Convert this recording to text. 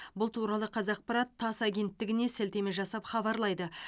бұл туралы қазақпараттасс агенттігінесілтеме жасап хабарлайды